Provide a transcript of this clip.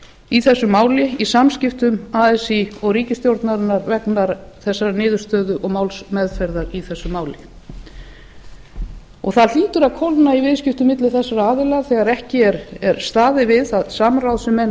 í þessu máli í samskiptum así og ríkisstjórnarinnar vegna þessarar niðurstöðu og málsmeðferðar í þessu máli það hlýtur að koma í viðskiptum milli þessara aðila þegar ekki er staðið við það samráð sem menn